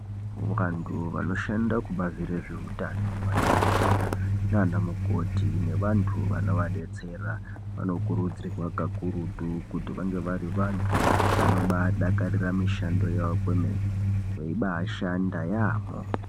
Vantu vanoshanda kubazi rezveutano, madhokodheya nanamukoti nevantu vanova detsera vanokuridzirwa pakurutu kuti vange vari vantu vanombadakarira mishando yavo kwemene veibashanda yaambo.